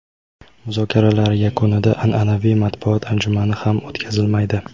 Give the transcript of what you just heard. Muzokaralar yakunida an’anaviy matbuot anjumani ham o‘tkazilmaydi.